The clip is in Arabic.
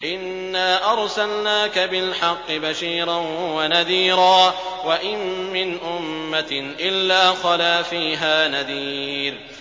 إِنَّا أَرْسَلْنَاكَ بِالْحَقِّ بَشِيرًا وَنَذِيرًا ۚ وَإِن مِّنْ أُمَّةٍ إِلَّا خَلَا فِيهَا نَذِيرٌ